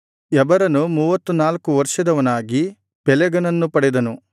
ಎಬರನು ಮೂವತ್ತನಾಲ್ಕು ವರ್ಷದವನಾಗಿ ಪೆಲೆಗನನ್ನು ಪಡೆದನು